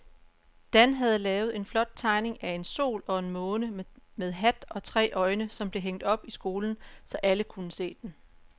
Dan havde lavet en flot tegning af en sol og en måne med hat og tre øjne, som blev hængt op i skolen, så alle kunne se den.